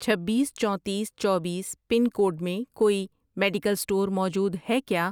چھبیس، چونتیس، چوبیس پن کوڈ میں کوئی میڈیکل اسٹور موجود ہے کیا؟